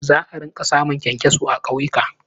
Za a rinƙa samun ƙyankyaso a ƙauyuka.